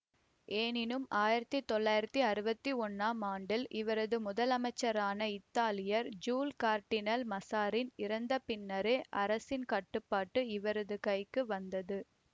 ஏனினும் ஆயிரத்தி தொள்ளாயிரத்தி அறுவத்தி ஒன்னாம் ஆண்டில் இவரது முதலமைச்சரான இத்தாலியர் ஜூல் கார்டினல் மசாரின் இறந்த பின்னரே அரசின் கட்டுப்பாடு இவரது கைக்கு வந்தது